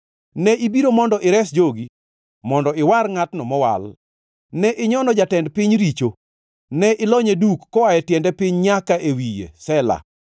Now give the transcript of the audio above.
Ne ibiro mondo ires jogi, mondo iwar ngʼatno mowal. Ne inyono jatend piny richo, ne ilonye duk koa e tiende piny nyaka e wiye. Sela